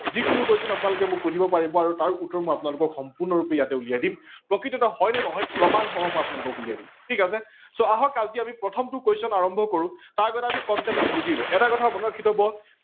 যিকোনো question আপোনালোকে মোক সোধিব পাৰিব আৰু তাৰ উত্তৰ আপোনালোকোক সম্পূৰ্ণৰূপে মই উলিয়াই দিম। প্ৰকৃততে হয় নে নহয় প্ৰমাণসহ মই উলিয়াই দিম ।ঠিক আছে so আহক আজি আমি প্ৰথমটো question আৰম্ভ কৰো, তাৰ আগত concept টো বুজি লব, এটা কথা মনত ৰাখি থব